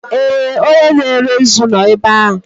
Ee! Onye na-ere nzu nọ ebe a.